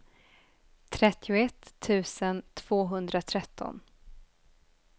trettioett tusen tvåhundratretton